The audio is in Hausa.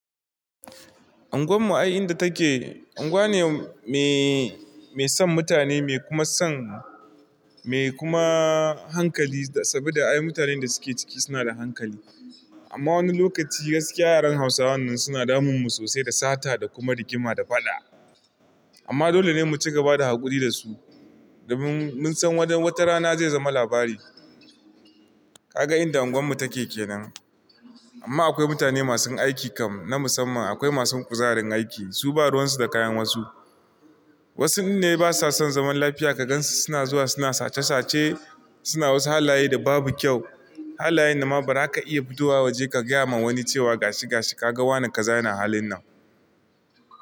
Anguwan mu a inda take, anguwa ne mai son mutane, mai kuma son, mai kuma hankali. Saboda ai mutanen da suke ciki suna da hankali. Amma wani lokaci gaskiya yaran Hausawa nan suna damun mu sosai da sata da kuma rigima da faɗa. Amma dole ne mu cigaba da haƙuri da su domin mun san wata rana zai zama labari. Ka ga inda unguwar mu take kenan. Amma akwai mutane masu aiki kam na musamman, akwai masu kuzarin aiki. Su ba ruwan su da kayan wasu. Wasun ne basa son zaman lafiya ka gansu suna zuwa suna sace sace, suna wasu halaye da babu kyau. Halayen da ma bara ka iya fidowa waje ka gaya ma wani cewa gashi gashi ka ga wane ka za ya na halin nan.